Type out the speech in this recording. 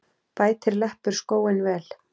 Bætir leppur skóinn vel.